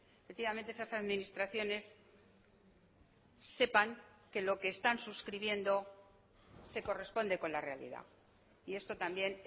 efectivamente esas administraciones sepan que lo que están suscribiendo se corresponde con la realidad y esto también